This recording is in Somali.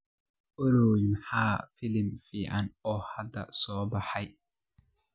olly maxaa filim fiican oo hadda soo baxay